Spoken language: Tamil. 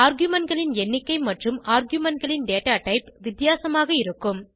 argumentகளின் எண்ணிக்கை மற்றும் argumentகளின் data டைப் வித்தியாசமாக இருக்கும்